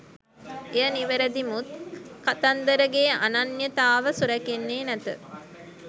එය නිවැරදි මුත් කතන්දරගේ අනන්‍යතාව සුරැකෙන්නේ නැත